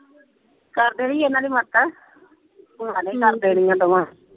ਕਰ ਦੇਣੀ ਇਹਨਾ ਨੇ ਮਦਦ। ਭਰਾ ਨੇ ਹੀ ਕਰ ਦੇਣੀ ਆ ਦੋਵਾਂ।